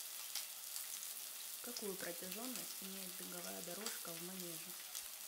какую протяженность имеет беговая дорожка в манеже